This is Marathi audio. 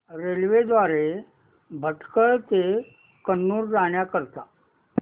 रेल्वे द्वारे भटकळ ते कन्नूर जाण्या करीता